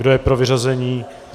Kdo je pro vyřazení?